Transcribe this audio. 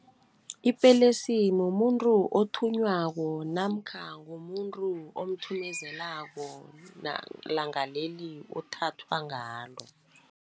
Ipelesi mumuntu othunywako namkha ngumuntu omthumezelako langaleli othathwa ngalo.